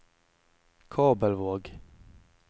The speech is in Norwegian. Kabelvåg